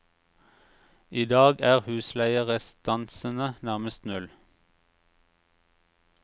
I dag er husleierestansene nærmest null.